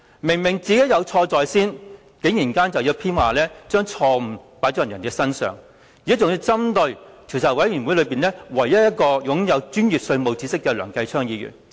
明明是自己有錯在先，卻偏要把錯誤加諸別人身上，還要針對專責委員會內唯一一位擁有專業稅務知識的梁繼昌議員。